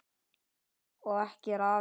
Og ekki er afi síðri.